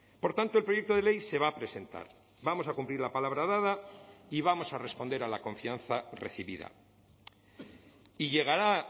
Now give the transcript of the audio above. por tanto el proyecto de ley se va a presentar vamos a cumplir la palabra dada y vamos a responder a la confianza recibida y llegará